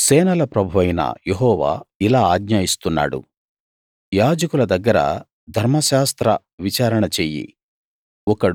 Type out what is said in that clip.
సేనల ప్రభువైన యెహోవా ఇలా ఆజ్ఞ ఇస్తున్నాడు యాజకుల దగ్గర ధర్మశాస్త్ర విచారణ చెయ్యి